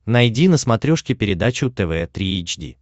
найди на смотрешке передачу тв три эйч ди